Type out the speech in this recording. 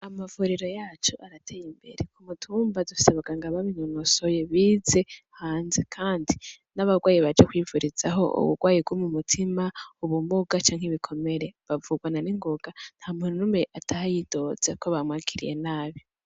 Amavuriro yacu aratey'imbere , k'umutumba dufis'abaganga babinonosoye bize hanze kandi n'abagwaye baje kwivurizaho ubugwayi bwo m'umutima ubumuga canke ibikomere bavugwa na ningoga ,ntamuntu numwe ataha yidoze ko bamwakiriye nabi.